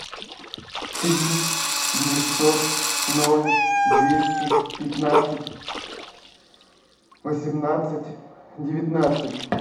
три девятьсот ноль двести пятнадцать восемнадцать девятнадцать